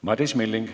Madis Milling.